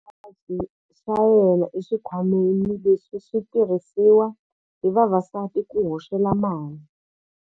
Khamba ri yivile xipaci xa yena exikhwameni lexi xi tirhisiwaka hi vavasati ku hoxela mali.